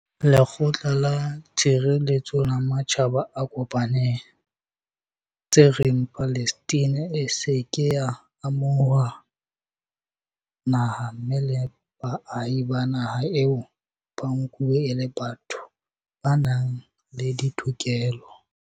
Lekgotla la Tshireletseho la Matjhaba a Kopaneng, tse reng Palestina e se ke ya amo huwa naha mme le baahi ba naha eo ba nkuwe e le batho ba nang le ditokelo.